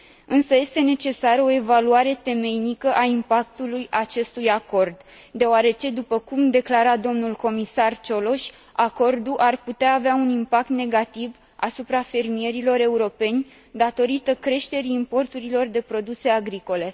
Însă este necesară o evaluare temeinică a impactului acestui acord, deoarece, după cum declara domnul comisar Cioloș, acordul ar putea avea un impact negativ asupra fermierilor europeni datorită creșterii importurilor de produse agricole.